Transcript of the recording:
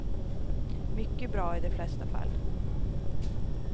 Mycket bra i de flesta fall.